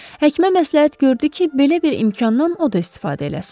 Həkimə məsləhət gördü ki, belə bir imkandan o da istifadə eləsin.